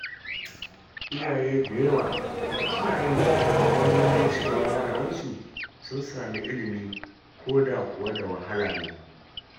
Iyaye da yawa suna yin ƙoƙari don ganin cewa yaran su sun samu ilimi, koda kuwa da wahala ne.